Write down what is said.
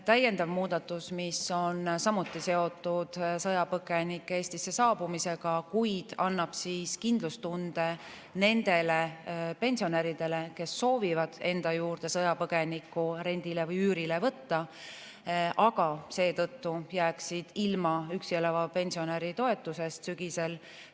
Täiendav muudatus on samuti seotud sõjapõgenike Eestisse saabumisega, kuid see annab kindlustunde nendele pensionäridele, kes soovivad enda juurde sõjapõgenikku rendile või üürile võtta, aga seetõttu jääksid ilma üksi elava pensionäri toetusest sügisel.